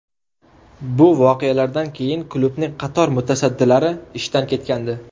Bu voqealardan keyin klubning qator mutasaddilari ishdan ketgandi.